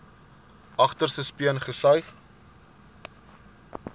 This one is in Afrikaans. agterste speen gesuig